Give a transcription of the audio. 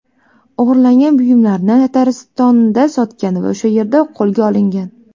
O‘g‘irlangan buyumlarni Tataristonda sotgan va o‘sha yerda qo‘lga olingan.